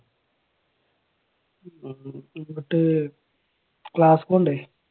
എന്നിട്ട് ക്ലാസിൽ പോകണ്ടേ?